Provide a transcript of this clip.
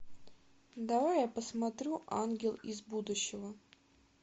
давай я посмотрю ангел из будущего